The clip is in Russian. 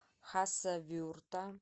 хасавюрта